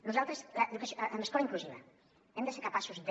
nosaltres amb l’escola inclusiva hem de ser capaços de